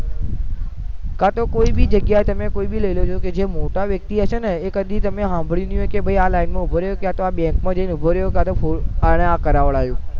કાતો કોઈ બી જગાઈએ તમે કોઈ બી લઇ લેજો જે મોટા વ્યક્તિ હશે ને એ કદી તમે સાંભળી નઈ હોય કે આ લાઈન માં ઉભો રહ્યો કાતો આ bank માં જઈને ઉભો રહ્યો કાતો અને આ કરાવડાવ્યું